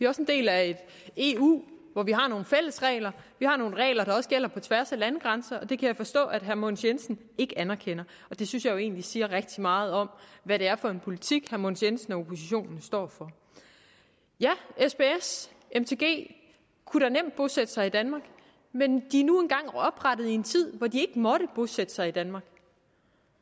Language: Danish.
også en del af et eu hvor vi har nogle fællesregler vi har nogle regler der også gælder på tværs af landegrænser og det kan jeg forstå at herre mogens jensen ikke anerkender det synes jeg jo egentlig siger rigtig meget om hvad det er for en politik herre mogens jensen og oppositionen står for sbs mtg kunne da nemt bosætte sig i danmark men de er nu engang oprettet i en tid hvor de måtte bosætte sig i danmark